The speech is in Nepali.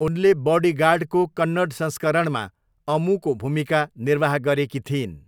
उनले बडीगार्डको कन्नड संस्करणमा अम्मूको भूमिका निर्वाह गरेकी थिइन्।